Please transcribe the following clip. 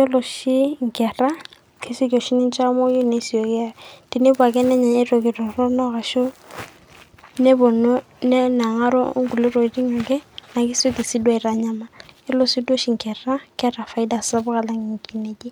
Ore oshi inkera kesioki oshi ninche aamoyu eye tenepuo nenya entoki toronok nepuonu nenang'aro onkulie tokitin torok ake neeku kesikki taaduo aaatanyamal ,neeku ore inkera keeta faida sapuk alang inkineji